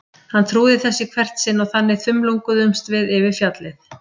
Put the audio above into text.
Hann trúði þessu í hvert sinn og þannig þumlunguðumst við yfir fjallið.